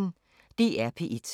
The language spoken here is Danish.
DR P1